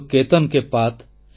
ଯୋ କେତନ୍ କେ ପାତ୍